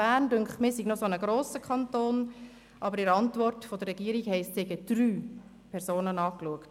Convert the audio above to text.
Mir scheint, der Kanton Bern sei ein grosser Kanton, aber in der Antwort der Regierung heisst es, sie hätten Personen angeschaut.